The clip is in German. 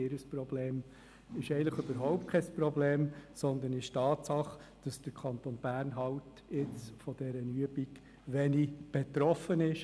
Eigentlich ist es überhaupt kein Problem, sondern es ist eine Tatsache, dass der Kanton Bern von dieser Übung halt nur wenig betroffen ist.